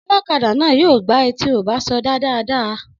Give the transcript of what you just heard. Ọlọ́kadà náà yóò gbá ẹ tí ò bá sọdá dáadáa